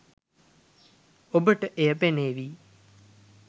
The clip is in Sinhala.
ඔබට එය පෙනේවි